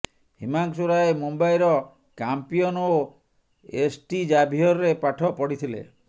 ହିମାଂଶୁ ରାୟ ମୁମ୍ବାଇର କାମ୍ପିଅନ ଓ ଏସ୍ଟି ଜାଭିୟରରେ ପାଠପଢ଼ିଥିଲେ